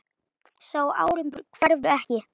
Sá árangur hverfur ekki.